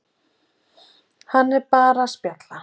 Hann var bara að spjalla.